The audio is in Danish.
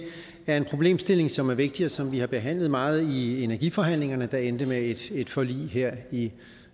er en problemstilling som er vigtig og som vi har behandlet meget i energiforhandlingerne der endte med et et forlig her i